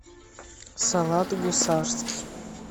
салат гусарский